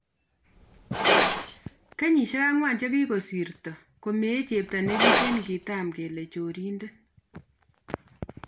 kenyisieg angwan chegisirto, komee chepto negiten ingetam kole chorindet